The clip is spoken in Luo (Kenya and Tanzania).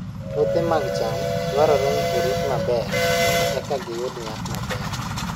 Puothe mag cham dwarore ni orit maber mondo eka giyud nyak maber.